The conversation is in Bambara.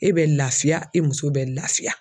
E bɛ laafiya e muso bɛ laafiya.